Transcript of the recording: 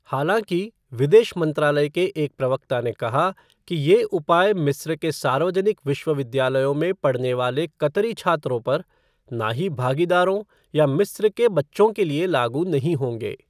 हालाँकि, विदेश मंत्रालय के एक प्रवक्ता ने कहा कि ये उपाय मिस्र के सार्वजनिक विश्वविद्यालयों में पढ़ने वाले कतरी छात्रों पर, ना ही भागीदारों या मिस्र के बच्चों के लिए लागू नहीं होंगे।